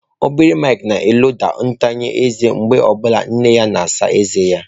Obere Mike na-eloda ntanya eze oge ọ bụla nne ya na-asa ezé ya.